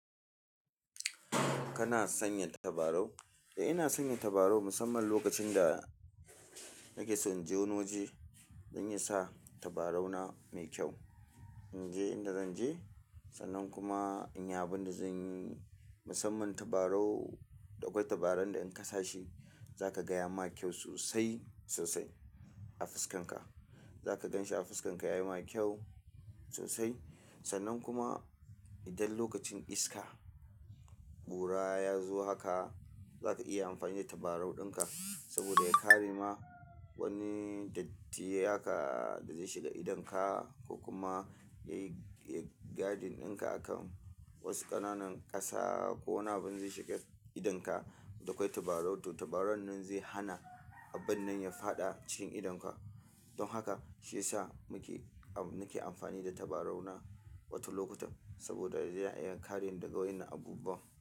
Kana sanya tabarau? Eh, ina sanya tabarau musamman lokacin da nake so inje wani waje. Zan iya sa tabarau na mai kyau, in je inda zan je, sannan kuma in yi abinda zan yi. Musamman tabarau, da kwai tabaran da in kasashi zaka ga ya ma kyau sosai sosai a fuskan ka. Zaka gan shi a fuskan ka yayi ma kyau sosai. Sannan kuma idan lokacin iska, kura ya zo haka za ka iya amfani da tabarau ɗinka saboda ya kare ma wani datti haka da zai shiga idon ka ko kuma ya yi, ya guarding ɗinka akan wasu ƙananan ƙasa ko wani abin zai shiga idon ka. Da kwai tabarau, to tabarau nan zai hana abun nan ya faɗa cikin idon ka. Don haka shi ya sa muke, nake amfani da tabarau na wata lokutan, saboda ya iya kare ni daga wainnan abubuwan.